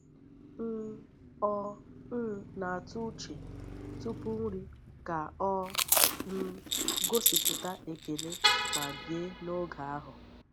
um Ọ um na-atụ uche tupu nri ka ọ um gosipụta ekele ma bie n’oge ahụ.